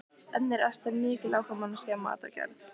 En er Ester mikil áhugamanneskja um matargerð?